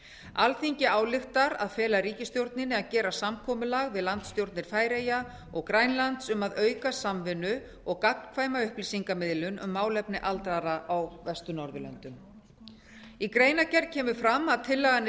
alþingi ályktar að fela ríkisstjórninni að gera samkomulag við landsstjórnir færeyja og grænlands um að auka samvinnu og gagnkvæma upplýsingamiðlun um málefni aldraðra á vestur norðurlöndum í greinargerð kemur fram að tillagan er